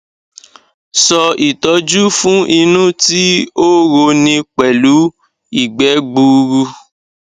sọ itọ́ju fun inu ti o ro ni pẹ̀lu igbẹ́ gburu